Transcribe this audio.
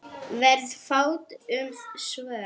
Varð fátt um svör.